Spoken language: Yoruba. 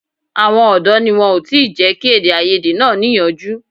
Àwọn ọ̀dọ́ ni wọn ò tí ì jẹ́ kí èdèàìyedè náà níyanjú